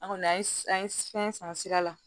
An kɔni an ye an ye fɛn san sira la